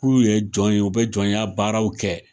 K'u ye jɔn ye, u bɛ jɔnya baaraw kɛ!